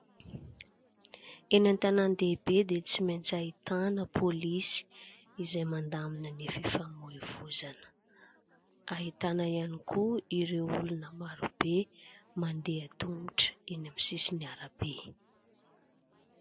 Eny an-tanan-dehibe dia tsy maintsy ahitana polisy izay mandamina ny fifamoivoizana. Ahitana ihany koa ireo olona marobe mandeha tongotra eny amin'ny sisin'ny arabe.